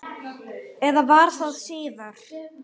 Eða var það síðar?